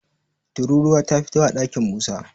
tururuwa ta fito a ɗakin Musa